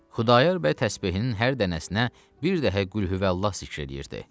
Xudayar bəy təsbehinin hər dənəsinə bir dəfə Qülhüvəllah zikr eləyirdi.